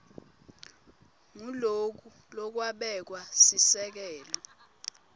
nguloku lokwabeka sisekelo